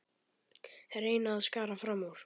Reyna að skara fram úr.